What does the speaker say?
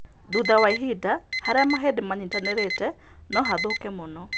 Thutha wa ihinda, harĩa mahĩndĩ manyitanĩrĩte no hathũke mũno.